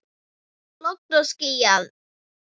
Logn og skýjað.